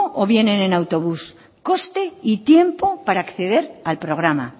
o vienen en autobús coste y tiempo para acceder al programa